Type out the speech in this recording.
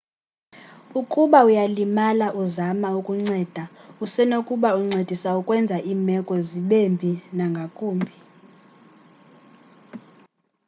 ukuba uyalimala uzama ukunceda usenokuba uncedisa ukwenza iimeko zibembi nangakumbi